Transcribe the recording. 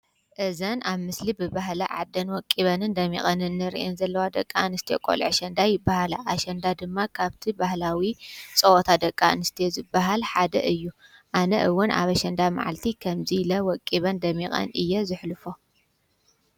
እዘን ኣብ ምስሊ ብበህለ ዓደን ወቂበንን ደሚቐንን ርእን ዘለዋ ደቃንስቲዮ ቖልዕ ኣሸንዳ ይበሃላ ።ኣሸንዳ ድማ ካብቲ ባህላዊ ጸወታ ደቃ ንስትዮ ዝበሃል ሓደ እዩ ኣነ ውን ኣብኣሸንዳ መዓልቲ ኸምዙይ ለ ወቂበን ደሚቐን እየ ዘሕልፎ።